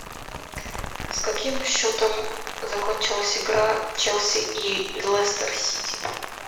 с каким счетом закончилась игра челси и лестер сити